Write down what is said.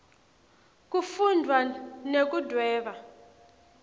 kufundvwa nekudvweba